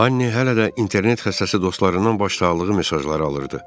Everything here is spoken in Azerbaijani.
Anni hələ də internet xəstəsi dostlarından başsağlığı mesajları alırdı.